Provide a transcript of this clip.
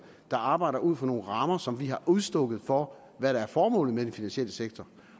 der arbejder ud fra nogle rammer som vi har udstukket for hvad der er formålet med den finansielle sektor